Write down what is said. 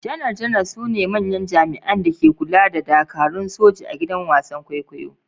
Janar-janar su ne manyan jami’an da ke kula da dakarun soji a gidan wasan kwaikwayo.